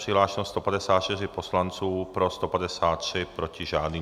Přihlášeno 154 poslanců, pro 153, proti žádný.